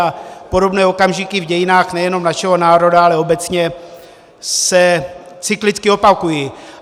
A podobné okamžiky v dějinách nejenom našeho národa, ale obecně se cyklicky opakují.